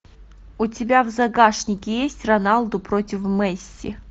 у тебя в загашнике есть роналду против месси